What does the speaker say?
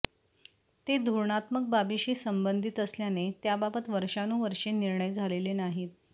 ते धोरणात्मक बाबीशी संबंधित असल्याने त्याबाबत वर्षानुवर्षे निर्णय झालेले नाहीत